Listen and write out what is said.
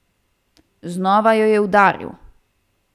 Znova jo je udaril.